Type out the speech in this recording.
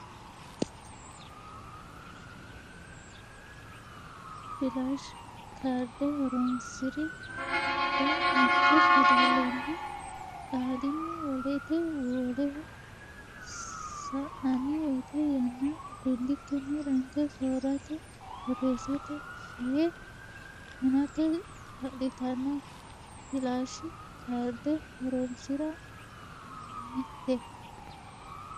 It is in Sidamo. Filashi kaarde horoonsi ra mitte fidalenni qaalinni wolete woleho sa nanni woyte yanna gundikkinni ranke soorrate borreessate fee hunate kaa litanno Filashi kaarde horoonsi ra mitte.